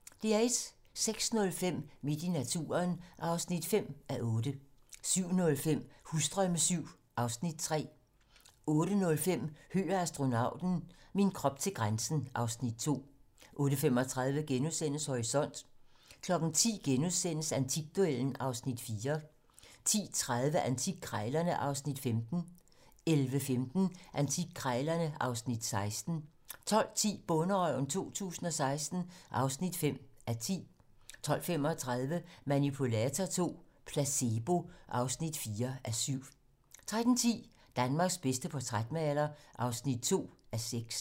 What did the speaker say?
06:05: Midt i naturen (5:8) 07:05: Husdrømme VII (Afs. 3) 08:05: Høgh og astronauten - min krop til grænsen (Afs. 2) 08:35: Horisont * 10:00: Antikduellen (Afs. 4)* 10:30: Antikkrejlerne (Afs. 15) 11:15: Antikkrejlerne (Afs. 16) 12:10: Bonderøven 2016 (5:10) 12:35: Manipulator II - placebo (4:7) 13:10: Danmarks bedste portrætmaler (2:6)